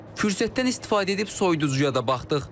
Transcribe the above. Fürsətdən istifadə edib soyuducuya da baxdıq.